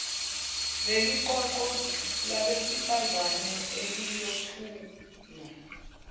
leliqoqo labesifazane eliyothula